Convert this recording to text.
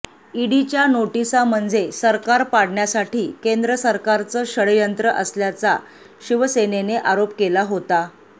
ईडीच्या नोटीसा म्हणजे सरकार पाडण्यासाठी केंद्र सरकारचं षडयंत्र असल्याचा शिवसेनेने आरोप केला होता